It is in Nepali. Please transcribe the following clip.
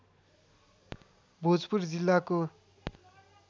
भोजपुर जिल्लाको